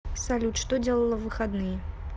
салют что делала в выходные